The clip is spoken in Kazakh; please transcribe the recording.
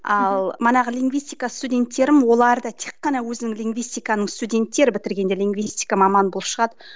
ал манағы лингвистика студенттерім оларды тек қана өзім лингвистиканы студенттер бітіргенде лингвистика маманы болып шығады